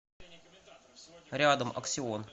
рядом аксион